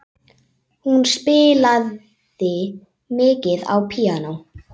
Hún spilaði mikið á píanó.